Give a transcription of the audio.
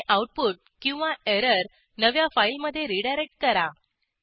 आणि आऊटपुट किंवा एरर नव्या फाईलमधे रीडायरेक्ट करा